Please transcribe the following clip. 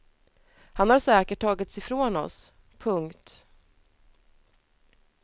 Han har säkert tagits ifrån oss. punkt